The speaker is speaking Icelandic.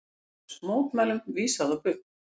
LÁRUS: Mótmælum vísað á bug.